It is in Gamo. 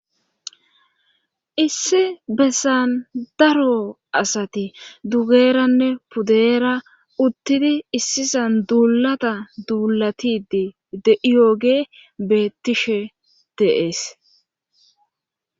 issi bessan daro asati dugeranne pudeera uttidi issisan duulata duulatidi de'iyooge beettishe de'es